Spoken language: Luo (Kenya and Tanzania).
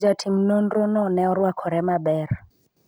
jatim nonro no ne orwakore maber